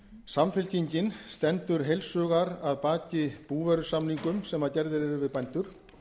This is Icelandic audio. samfylkingin stendur heils hugar að baki búvörusamningum sem gerðir eru við bændur